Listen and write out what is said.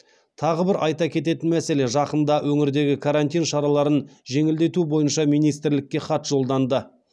тағы бір айта кететін мәселе жақында өңірдегі карантин шараларын жеңілдету бойынша министрлікке хат жолданды